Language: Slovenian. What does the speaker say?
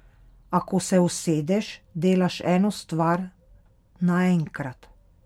A, ko se usedeš, delaš eno stvar naenkrat.